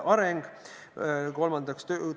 Kas te seda majanduslikku mõttekust oskate hinnata?